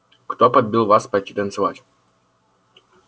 кто подбил вас пойти танцевать